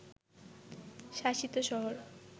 শাসিত শহর